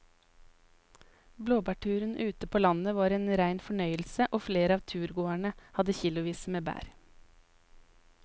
Blåbærturen ute på landet var en rein fornøyelse og flere av turgåerene hadde kilosvis med bær.